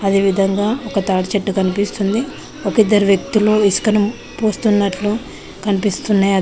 అదే విధంగా ఒక తాటి చెట్టు కనిపిస్తుంది ఒకిద్దరు వ్యక్తులు ఇసుకను పూస్తున్నట్లు కన్పిస్తున్నాయ్.